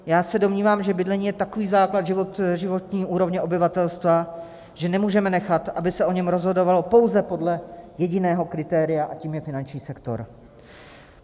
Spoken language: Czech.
Já se domnívám, že bydlení je takový základ životní úrovně obyvatelstva, že nemůžeme nechat, aby se o něm rozhodovalo pouze podle jediného kritéria, a tím je finanční sektor.